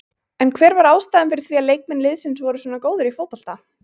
En hver var ástæðan fyrir því að leikmenn liðsins voru svona góðir í fótbolta?